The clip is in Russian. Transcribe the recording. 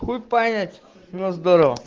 хуй понять но здорого